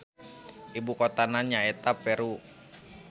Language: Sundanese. Ibu kotana nya eta Peru